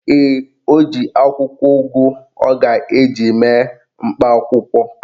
Ee, o ji akwụkwọ ugu ọ ga-eji mee mkpa akwụkwọ.